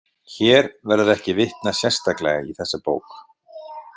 Hér verður ekki vitnað sérstaklega í þessa bók.